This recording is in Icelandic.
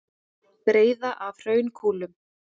Breiða af hraunkúlum.